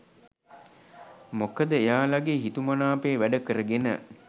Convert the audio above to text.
මොකද එයාලගේ හිතුමනාපේ වැඩ කරගෙන